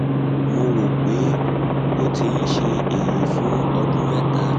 mo rò pé ó ti ń ṣe èyí fún ọdún mẹta